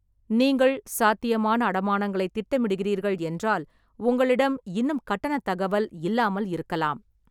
நீங்கள் சாத்தியமான அடமானங்களைத் திட்டமிடுகிறீர்கள் என்றால், உங்களிடம் இன்னும் கட்டணத் தகவல் இல்லாமல் இருக்கலாம்.